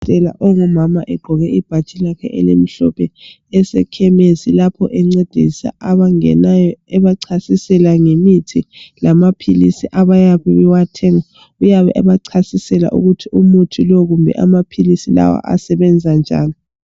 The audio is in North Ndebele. Yena ongumama egqoke ibhatshi lakhe elimhlophe esekhemesi lapho encedisa abangenayo ebacasisela ngemithi lamaphilisi abakuyiwathenga uyabe ebacasisela ukuthi umuthi lo kumbe amaphilisi lawa asebenza njani.